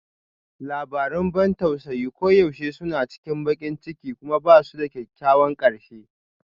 Labarun ban tausayi koyaushe suna cikin baƙin ciki kuma ba su da kyakkyawan ƙarshe